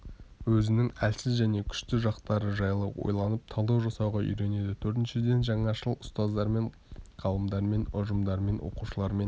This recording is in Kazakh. өзінің әлсіз және күшті жақтары жайлы ойланып талдау жасауға үйренеді төртіншіден жаңашыл ұстаздармен ғалымдармен ұжымдармен оқушылармен